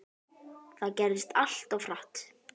Þetta gerðist allt of hratt.